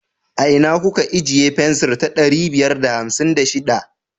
A ina kuka ijiye fensir ta ɗari biyar da hamsin da shiɗa?